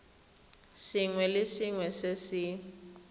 sengwe le sengwe se se